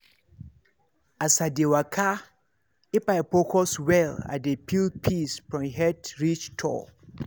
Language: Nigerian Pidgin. as i dey waka if i focus well i dey feel peace from head reach toe.